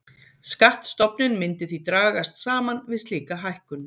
Skattstofninn myndi því dragast saman við slíka hækkun.